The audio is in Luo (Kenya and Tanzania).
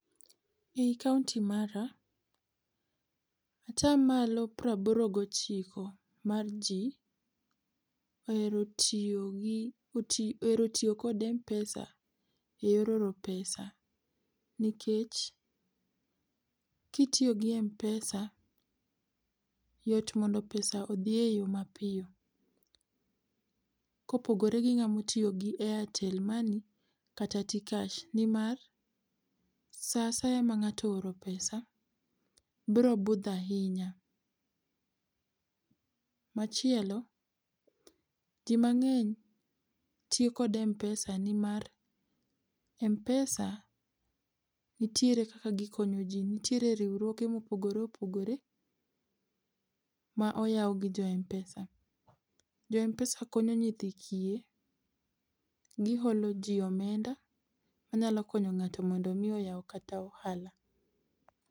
Ei kaunti mara, ata malo piero aboro gi ochiko mar ji ohero tiyo gi ohero tiyo kod mpesa e yor oro pesa nikech ki itiyo gi mpesa yot mondo pesa odhi e yo ma piyo ka opogore gi ng'a ma otiyo gi airtel money kata tkash, ni mar sa asaya ma ng'ato ooro pesa biro budho ahinya. Machielo , ji mang'eny tiyo kod mpesa ni mar mpesa nitiere kaka gi konyo ji. nitiere riwruoge ma opogore opogore ma oyaw gi jo mpesa. Jo mpesa konyo nyithi kiye, gi holo ji omenda ma nyalo konyo ngato mondo mi oyaw kata ohala.